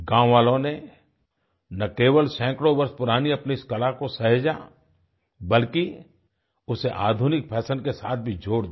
गाँव वालों ने ना केवल सैकड़ों वर्ष पुरानी अपनी इस कला को सहेजा बल्कि उसे आधुनिक फैशन के साथ भी जोड़ दिया